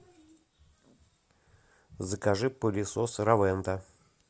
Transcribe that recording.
закажи пылесос ровента